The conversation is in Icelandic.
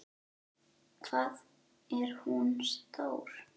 Hvað er hún stór?